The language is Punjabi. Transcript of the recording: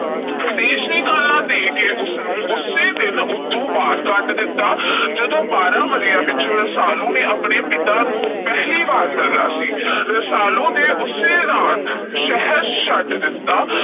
ਦੇਸ਼ ਨਿਕਾਲਾ ਦੇ ਕੇ ਉਸੇ ਦਿਨ ਉਥੋਂ ਬਾਹਰ ਕੱਢ ਦਿੱਤਾ, ਜਦੋਂ ਬਾਰ੍ਹਾਂ ਵਰ੍ਹਿਆਂ ਪਿੱਛੋਂ ਰਸਾਲੂ ਨੇ ਆਪਣੇ ਪਿਤਾ ਨੂੰ ਪਹਿਲੀ ਵਾਰੀ ਮਿਲਣਾ ਸੀ। ਰਸਾਲੂ ਨੇ ਉਸੇ ਰਾਤ ਸ਼ਹਿਰ ਛੱਡ ਦਿੱਤਾ।